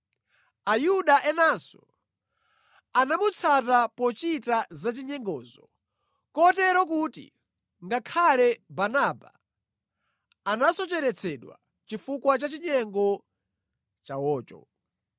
Ayuda enanso anamutsata pochita zachinyengozi, kotero kuti ngakhale Barnaba anasocheretsedwa chifukwa cha chinyengo chawocho.